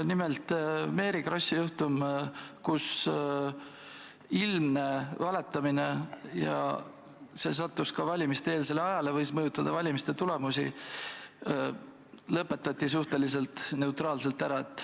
Nimelt, Mary Krossi juhtum, ilmne valetamine, mis sattus ka valimiste-eelsele ajale ja võis mõjutada valimiste tulemusi, lõpetati suhteliselt neutraalselt.